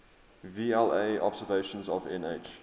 vla observations of nh